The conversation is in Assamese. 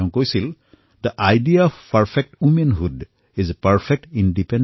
তেওঁ কৈছিল যেthe idea of perfect womanhood is perfect independence